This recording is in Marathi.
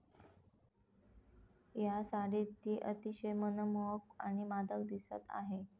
या साडीत ती अतिशय मनमोहक आणि मादक दिसत आहे.